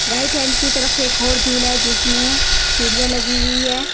Right hand की तरफ एक और जुला है जिसमे सीडिया लगी हुई है।